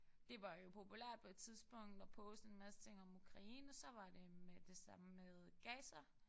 Det var jo populært på et tidspunkt at poste en masse ting om Ukraine så var det med det samme med Gaza